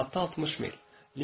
Saatda 60 mil.